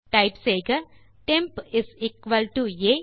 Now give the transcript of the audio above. type செய்க temp is equal to ah